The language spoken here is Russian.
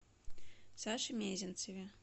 саше мезенцеве